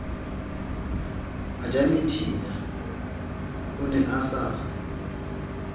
ejamethinya o ne a sa